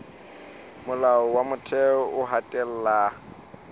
molao wa motheo o hatella